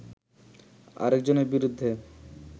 আরেকজনের বিরুদ্ধে